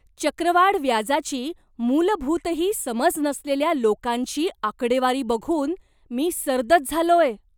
चक्रवाढ व्याजाची मूलभूतही समज नसलेल्या लोकांची आकडेवारी बघून मी सर्दच झालोय.